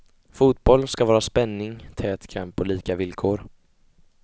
Fotboll ska vara spänning, tät kamp och lika villkor.